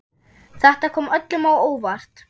Þetta kom öllum á óvart.